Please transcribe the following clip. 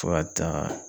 Fo ka taa